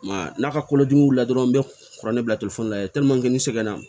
I m'a ye n'a ka kolodimi wulila dɔrɔn n bɛ kuranɛ bila la n segin na